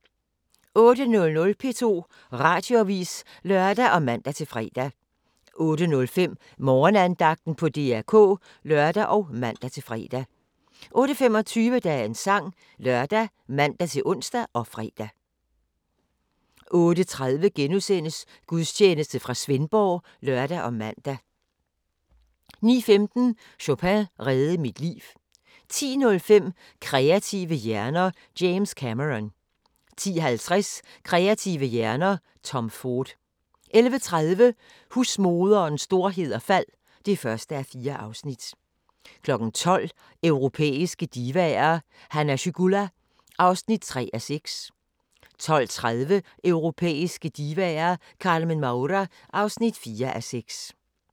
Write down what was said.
08:00: P2 Radioavis (lør og man-fre) 08:05: Morgenandagten på DR K (lør og man-fre) 08:25: Dagens Sang ( lør, man-ons, -fre) 08:30: Gudstjeneste fra Svendborg *(lør og man) 09:15: Chopin reddede mit liv 10:05: Kreative hjerner: James Cameron 10:50: Kreative hjerner: Tom Ford 11:30: Husmoderens storhed og fald (1:4) 12:00: Europæiske divaer: Hanna Schygulla (3:6) 12:30: Europæiske divaer – Carmen Maura (4:6)